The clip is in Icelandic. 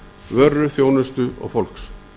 vöru þjónustu og fólks